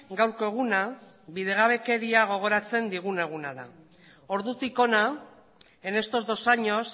gaurko eguna bidegabekeria gogoratzen digun eguna da ordutik hona en estos dos años